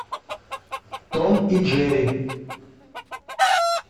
том и джерри